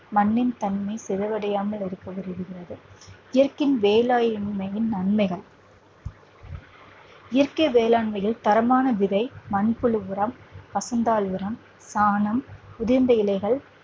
மண்ணின் தன்மை சிதைவடையாமல் இருக்க உதவுகிறது இயற்கை வேளாண்மையின் நன்மைகள் இயற்கை வேளாண்மையில் தரமான விதை, மண்புழு உரம், பசும்பால் உரம், சாணம், உதிர்ந்த இலைகள்